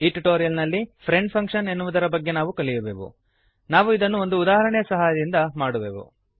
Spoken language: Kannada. ಈ ಟ್ಯುಟೋರಿಯಲ್ ನಲ್ಲಿ ಫ್ರೆಂಡ್ ಫಂಕ್ಶನ್ ಎನ್ನುವುದರ ಬಗೆಗೆ ನಾವು ಕಲಿಯುವೆವು ನಾವು ಇದನ್ನು ಒಂದು ಉದಾಹರಣೆಯ ಸಹಾಯದಿಂದ ಮಾಡುವೆವು